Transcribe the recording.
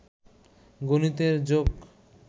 গনিতের joke